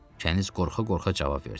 Kəniz qorxa-qorxa cavab verdi: